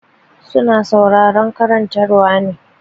Su na sauraron karantarwa ne.